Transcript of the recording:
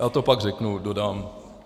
Já to pak řeknu, dodám.